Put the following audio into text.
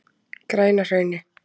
Grænahrauni